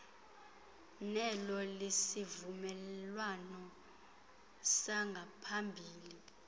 nelo lesivumelwano sangaphambili